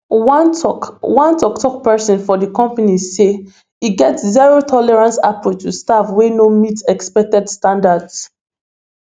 one tok one tok tok pesin for di company say e get zerotolerance approach to staff whey no meet expected standards